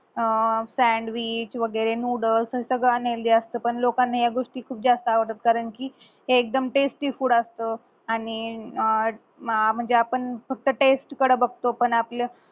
अं sandwich वगैरे noddles हे सगळं unhealthy असत पण लोकांना या गोष्टी खूप जास्त आवडतात कारण कि एकदम tasty food असत आणि अं अह म्हणजे आपण फक्त taste कड बघतो पण आपलं